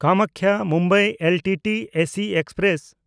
ᱠᱟᱢᱟᱠᱠᱷᱟ–ᱢᱩᱢᱵᱟᱭ LTT AC express